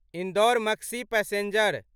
Indore Maksi passenger